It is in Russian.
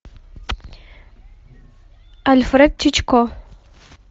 альфред хичкок